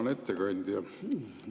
Hea ettekandja!